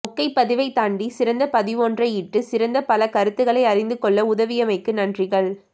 மொக்கைப் பதிவைத் தாண்டி சிறந்தப்பதிவொன்றை இட்டு சிறந்த பல கருத்துக்களை அறிந்துக் கொள்ள உதவியமைக்கு நன்றிகள்